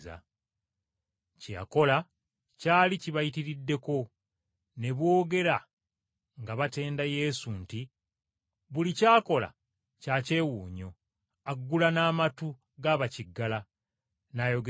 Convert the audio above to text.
Kye yakola kyali kibayitiriddeko. Ne boogera nga batenda Yesu nti, “Buli ky’akola kya kyewuunyo, aggula n’amatu ga bakiggala n’ayogeza ne bakasiru!”